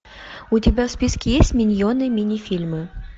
у тебя в списке есть миньоны мини фильмы